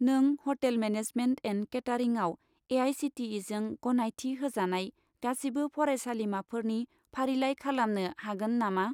नों hotel management and केटारिंआव ए.आइ.सि.टि.इ.जों गनायथि होजानाय गासिबो फरायसालिमाफोरनि फारिलाइ खालामनो हागोन नामा?